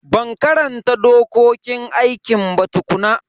Ban karanta dokokin aikin ba tukuna.